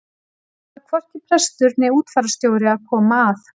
Þar þarf hvorki prestur né útfararstjóri að koma að.